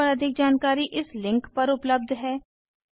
इस मिशन पर अधिक जानकारी इस लिंक पर उपलब्ध है